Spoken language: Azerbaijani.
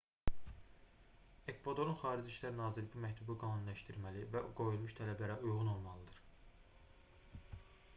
ekvadorun xarici i̇şlər nazirliyi bu məktubu qanuniləşdirməli və o qoyulmuş tələblərə uyğun olmalıdır